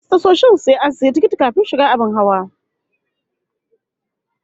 Wasu tashoshin sai an sayi tikiti kafin shiga abin hawa